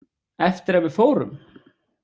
Eftir að við fórum?